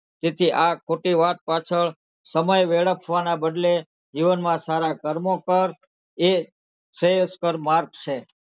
તેથી આ ખોટી વાત પાછળ સમય વેડફવાના બદલે જીવનમાં સારા કર્મો કર એ જ શ્રેષ્ઠ માર્ગ છે.